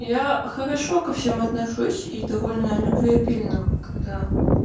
я хорошо ко всем отношусь и довольно любвеобильна когда